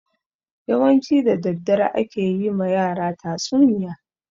Yawanci da daddare ake yi ma yara tatsuniya.